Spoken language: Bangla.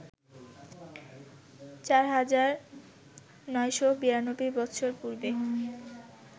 ৪,৯৯২ বৎসর পূর্বে